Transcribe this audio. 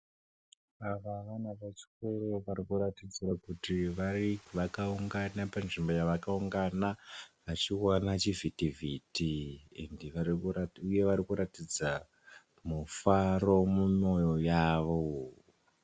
Ava vana vechikoro varikuratidza kuti vakaungana panzvimbo yavakaungana vachiwona chivhitivhiti uye varikuratidza mufaro mumoyo yavo.